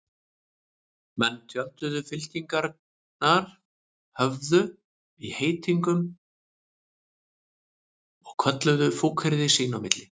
Menn tjölduðu, fylkingarnar höfðu í heitingum og kölluðu fúkyrði sín á milli.